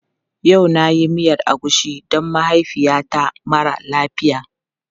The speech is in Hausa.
Yau na yi miyar agushi don mahaifiyata mara lafiya.